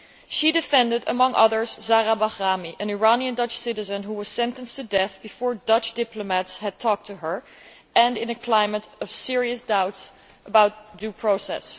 She defended, among others, Zahra Bahrami, an Iranian Dutch citizen who was sentenced to death before Dutch diplomats had talked to her, and in a climate of serious doubts about due process.